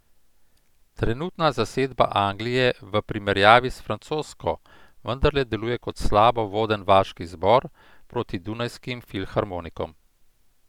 Trenutna zasedba Anglije v primerjavi s francosko vendarle deluje kot slabo voden vaški zbor proti dunajskim filharmonikom.